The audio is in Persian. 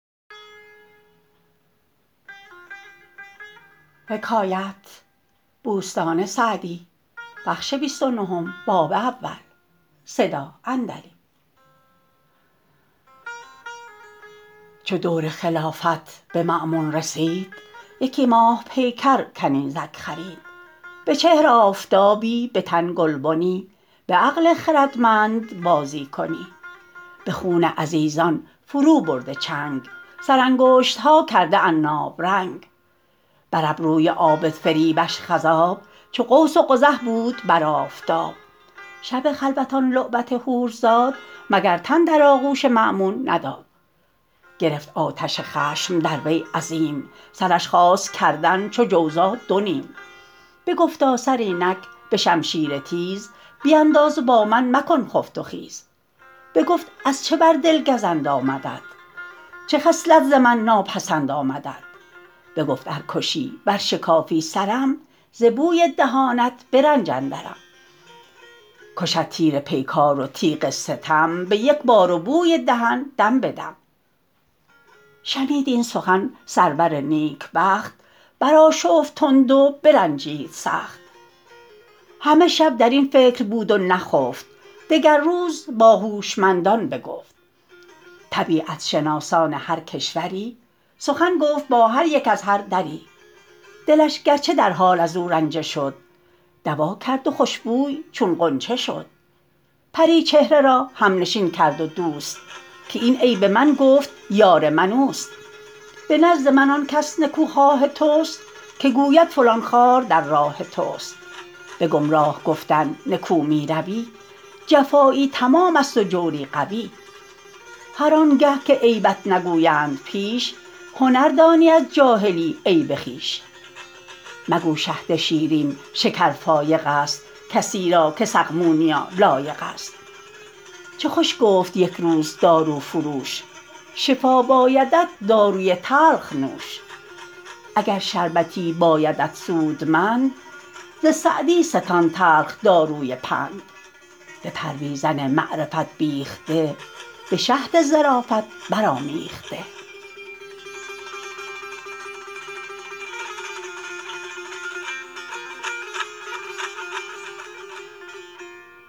چو دور خلافت به مأمون رسید یکی ماه پیکر کنیزک خرید به چهر آفتابی به تن گلبنی به عقل خردمند بازی کنی به خون عزیزان فرو برده چنگ سر انگشتها کرده عناب رنگ بر ابروی عابد فریبش خضاب چو قوس قزح بود بر آفتاب شب خلوت آن لعبت حور زاد مگر تن در آغوش مأمون نداد گرفت آتش خشم در وی عظیم سرش خواست کردن چو جوزا دو نیم بگفتا سر اینک به شمشیر تیز بینداز و با من مکن خفت و خیز بگفت از چه بر دل گزند آمدت چه خصلت ز من ناپسند آمدت بگفت ار کشی ور شکافی سرم ز بوی دهانت به رنج اندرم کشد تیر پیکار و تیغ ستم به یک بار و بوی دهن دم به دم شنید این سخن سرور نیکبخت برآشفت تند و برنجید سخت همه شب در این فکر بود و نخفت دگر روز با هوشمندان بگفت طبیعت شناسان هر کشوری سخن گفت با هر یک از هر دری دلش گرچه در حال از او رنجه شد دوا کرد و خوشبوی چون غنچه شد پری چهره را همنشین کرد و دوست که این عیب من گفت یار من اوست به نزد من آن کس نکوخواه توست که گوید فلان خار در راه توست به گمراه گفتن نکو می روی جفایی تمام است و جوری قوی هر آن گه که عیبت نگویند پیش هنر دانی از جاهلی عیب خویش مگو شهد شیرین شکر فایق است کسی را که سقمونیا لایق است چه خوش گفت یک روز دارو فروش شفا بایدت داروی تلخ نوش اگر شربتی بایدت سودمند ز سعدی ستان تلخ داروی پند به پرویزن معرفت بیخته به شهد ظرافت برآمیخته